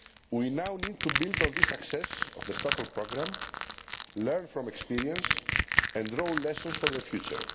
We now need to build on the success of the Stockholm Programme, learn from experience and draw lessons for the future.